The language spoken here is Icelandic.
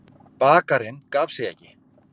Bakarinn gaf sig ekki.